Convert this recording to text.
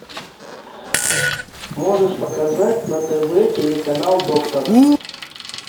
можешь показать на тв телеканал доктор